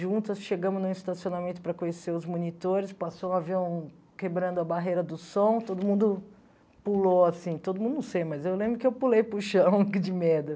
Juntas, chegamos num estacionamento para conhecer os monitores, passou um avião quebrando a barreira do som, todo mundo pulou, assim, todo mundo, não sei, mas eu lembro que eu pulei para o chão, que de medo.